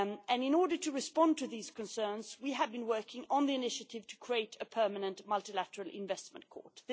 In order to respond to these concerns, we have been working on the initiative to create a permanent Multilateral Investment Court.